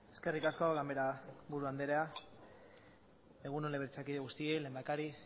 eskerrik asko ganbaraburu andrea egun on legebiltzarkide guztioi lehendakari